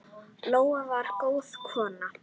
Lóa var góð kona.